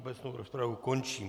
Obecnou rozpravu končím.